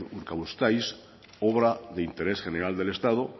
urkabustaiz obra de interés general del estado